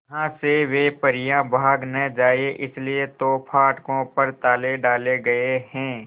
यहां से वे परियां भाग न जाएं इसलिए तो फाटकों पर ताले डाले गए हैं